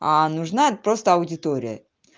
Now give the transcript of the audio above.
нужна тест-аудитория